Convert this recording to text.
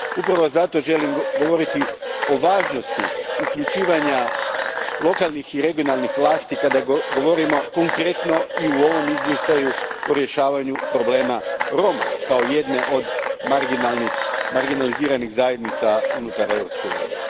Upravo zato želim govoriti o važnosti uključivanja lokalnih i regionalnih vlasti kada govorimo konkretno i u ovom izvještaju o rješavanju problema Roma, kao jedne od marginaliziranih zajednica unutar Europske unije.